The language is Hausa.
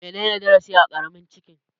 Menene darasi a Karamin Chicken?